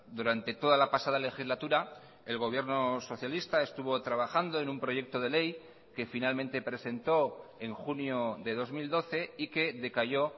durante toda la pasada legislatura el gobierno socialista estuvo trabajando en un proyecto de ley que finalmente presentó en junio de dos mil doce y que decayó